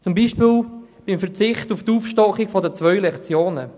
So zum Beispiel beim Verzicht auf die Aufstockung um zwei Lektionen: